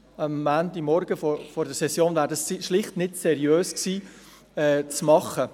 Am Montagmorgen vor der Session wäre dies schlicht nicht in seriöser Weise machbar gewesen.